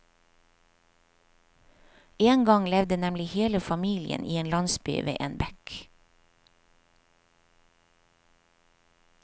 En gang levde nemlig hele familien i en landsby ved en bekk.